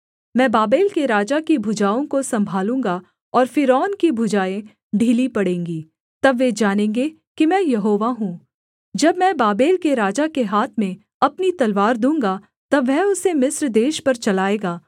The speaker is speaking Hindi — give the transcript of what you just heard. मैं बाबेल के राजा की भुजाओं को सम्भालूँगा और फ़िरौन की भुजाएँ ढीली पड़ेंगी तब वे जानेंगे कि मैं यहोवा हूँ जब मैं बाबेल के राजा के हाथ में अपनी तलवार दूँगा तब वह उसे मिस्र देश पर चलाएगा